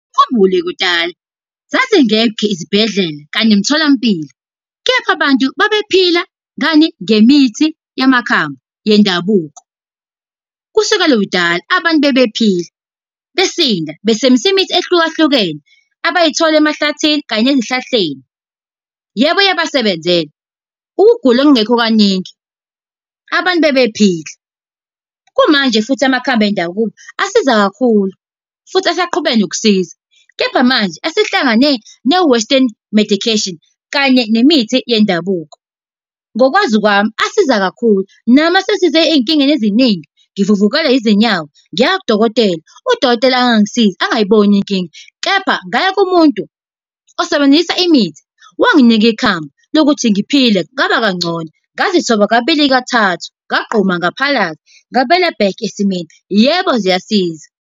Ukhumbule kudala, zazingekho izibhedlela kanye nemtholampilo. Kephi abantu ababephila ngani, ngemithi yamakhambi yendabuko. Kusuke kudala abantu babephila, besinda, besebenzisa imithi ehlukene abayitholi emahlathini kanye nezihlahleni. Yebo iyabasebenzela. Ukugula kungekho kaningi, abantu bebephila. Kumanje futhi amakhambi endabuko asiza kakhulu, futhi asaqhubeka nokusiza. Kepha manje asehlangane ne-western medication, kanye nemithi yendabuko. Ngokwazi kwami asiza kakhulu, nami asesize ey'nkingeni eziningi, ngivuvukelwe izinyawo ngiya kudokotela, udokotela angangisizi, angiyiboni inkinga, kepha ngaya kumuntu osebenzisa imithi wanginika ikhambi, lokuthi ngiphile, ngaba kangcono. Ngazithola kabili kathathu, ngagquma ngaphalaza, ngabuyela back esimweni. Yebo, ziyasiza.